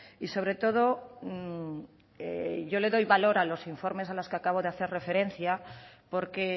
y sobre todo yo le doy valor a los informes a los que acabo de hacer referencia porque